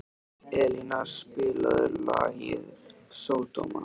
Elíná, spilaðu lagið „Sódóma“.